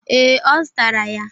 Ee, Ọ zụtara ya.